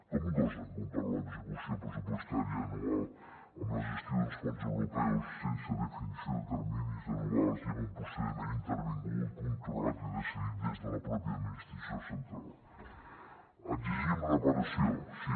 com gosen comparar l’execució pressupostària anual amb la gestió d’uns fons europeus sense definició de terminis anuals i amb un procediment intervingut controlat i decidit des de la pròpia administració central exigim reparació sí